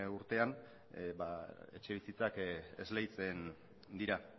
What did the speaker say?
urtean etxebizitzak esleitzen dira